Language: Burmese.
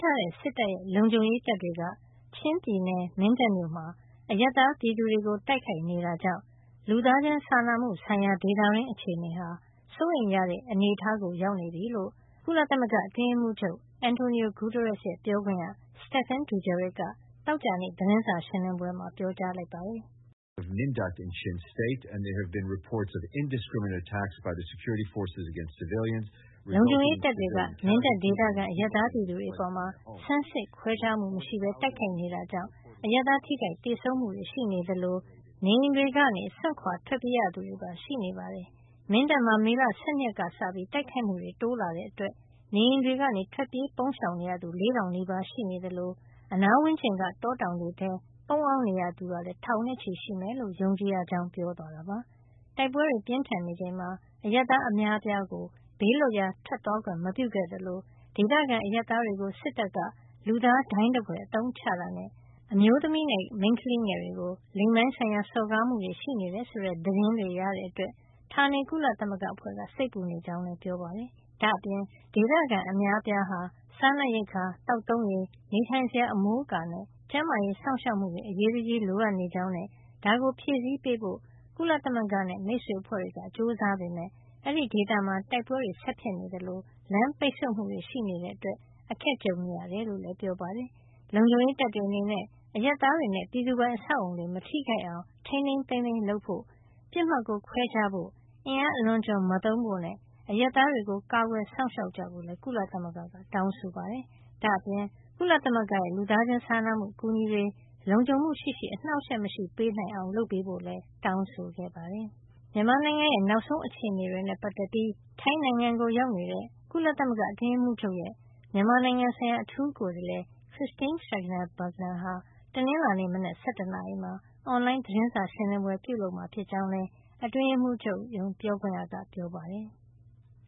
ထားတဲ့ စစ်တပ်ရဲ့ လုံခြုံရေးတပ်တွေက ချင်းပြည်နယ် မင်းတပ်မြို့မှာ အရပ်သားပြည်သူတွေကို တိုက်ခိုက်နေတာကြောင့် လူသားချင်းစာနာမှုဆိုင်ရာ ဒေသတွင်း အခြေနေဟာ စိုးရိမ်ရတဲ့ အနေထားရောက်နေပြီလို့ ကုလသမဂ္ဂအတွင်းရေးမှုးချုပ် Antonio Guterres ရဲ့ ပြောခွင့်ရ Stephane Dujarric က သောကြာနေ့ သတင်းစာရှင်းလင်းပွဲမှာ ပြောကြားလိုက်ပါတယ်။ လုံခြုံရေးတပ်တွေက မင်းတပ်ဒေသခံ အရပ်သားပြည်သူတွေအပေါ် ဆန်းစစ်ခွဲခြားမှုမရှိပဲ တိုက်ခိုက်နေတာကြောင့် အရပ်သားထိခိုက်သေဆုံးမှုတွေရှိနေသလို နေအိမ်တွေကို စွန့်ခွါထွက်ပြေးရသူတွေပါ ရှိနေပါတယ်။ မင်းတပ်မှာ မေလ ၁၂ ရက်နေ့ကစပြီး တိုက်ခိုက်မှုတွေ တိုးလာတဲ့အတွက် နေအိမ်တွေကနေ ထွက်ပြေးပုန်းရှောင်ရသူ ၄ ၀၀၀ နီးပါးရှိနေသလို အနားဝန်းကျင်က တောတောင်တွေထဲ ပုန်းအောင်နေရသူကလည်း ထောင်နဲ့ချီရှိမယ်လို့ ယုံကြည်ရကြောင်း ပြောသွားတာပါ။ တိုက်ပွဲတွေ ပြင်းထန်နေချိန်မှာ အရပ်သား အများအပြားကို ဘေးးလွတ်ရာထွက်သွားခွင့် မပြုခဲ့သလို ဒေသခံအရပ်သားတွေကို စစ်တပ်က လူသားဒိုင်းသဖွယ် အသုံးချတာနဲ့ အမျိုးသမီးနဲ့ မိန်းကလေးငယ်တွေကို လိင်ပိုင်းဆိုင်ရာ စော်ကားမှုတွေ ရှိနေတယ် ဆိုတဲ့ သတင်းတွေရတဲ့ အတွက် ဌာနေ ကုလသမဂ္ဂအဖွဲ့က စိတ်ပူနေကြောင်းလည်း ပြောပါတယ်။ ဒါ့အပြင် ဒေသခံ အများအပြားဟာ စားနပ်ရိက္ခာ၊ သောက်သုံးရေ၊ နေထိုင်စရာအမိုးအကာနဲ့ ကျန်းမာရေး စောင့်ရှောက်မှုတွေ အရေးတကြီး လိုအပ်နေကြောင်းနဲ့ ဒါကိုဖြည့်ဆည်းပေးဖို့ ကုလသမဂ္ဂနဲ့ မိတ်ဆွေအဖွဲ့တွေက ကြိုးစားပေမယ့် အဲဒီဒေသမှာ တိုက်ပွဲတွေ ဆက်ဖြစ်ပွါးနေသလို လမ်းပိတ်ဆို့မှုတွေ ရှိနေတာကြောင့် အခက်အခဲတွေ ကြုံနေရတယ်လို့လည်း ပြောပါတယ်။ လုံခြုံရေးတပ်တွေ အနေနဲ့ အရပ်သားတွေနဲ့ ပြည်သူပိုင် အဆောက်အအုံတွေ မထိခိုက်အောင် ထိန်းထိန်းသိမ်းသိမ်း လုပ်ဆောင်ဖို့နဲ့ ပစ်မှတ်ကို ခွဲခြားဖို့၊ အင်အားအလွန်အကျွံမသုံးဖို့နဲ့ အရပ်သားတွေကို ကာကွယ်စောင့်ရှောက်ကြဖို့လည်း ကုလသမဂ္ဂက တောင်းဆိုလိုက်ပါတယ်။ ဒါ့အပြင် ကုလသမဂ္ဂရဲ့ လူသားချင်းစာနာမှု အကူညီတွေ လုံခြုံမှုရှိရှိ အနှောက်အယှက်မရှိပေးနိုင် အောင် လုပ်ပေးဖို့လည်း တောင်းဆိုခဲ့ပါတယ်။ မြန်မာနိုင်ငံရဲ့ နောက်ဆုံးအခြေနေတွေနဲ့ ပတ်သက်ပြီး ထိုင်းနိုင်ငံကို ရောက်နေတဲ့ ကုလသမဂ္ဂ အတွင်းရေးမှုးချုပ်ရဲ့ မြန်မာနိုင်ငံဆိုင်ရာ အထူးကိုယ်စားလှယ် Christine Schraner Burgener ဟာ တနင်္လာနေ့ မနက် ၁၁ နာရီမှာ အွန်လိုင်းသတင်းစာ ရှင်းလင်းပွဲ ပြုလုပ်မှာ ဖြစ်ကြောင်းလည်း အတွင်းရေးမှုးချုပ် ပြောခွင့်ရက ပြောပါတယ်။